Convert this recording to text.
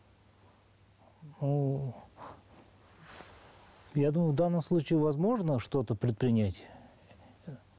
я думаю в данном случае возможно что то предпринять